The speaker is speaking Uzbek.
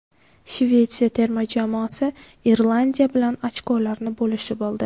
Shvetsiya terma jamoasi Irlandiya bilan ochkolarni bo‘lishib oldi.